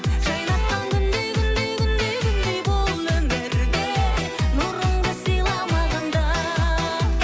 жайнатқан күндей күндей күндей күндей бұл өмірде нұрыңды сыйла маған да